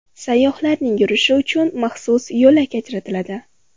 Sayyohlarning yurishi uchun maxsus yo‘lak ajratiladi.